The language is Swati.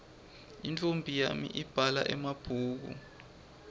intfombi yami ibhala emabhulu